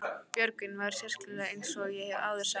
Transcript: Björgvin var sérkennilegur eins og ég hef áður sagt.